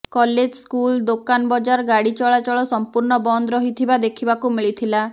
college school ଦୋକାନ ବଜାର ଗାଡି ଚଳାଚଳ ସମ୍ପୂର୍ଣ ବନ୍ଦ ରହିଥିବା ଦେଖିବାକୁ ମିଳିଥିଲା